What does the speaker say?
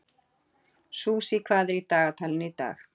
Susie, hvað er í dagatalinu í dag?